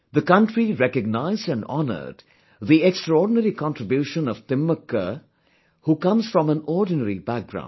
The country recognised and honoured the extraordinary contribution of Timmakka who comes from an ordinary background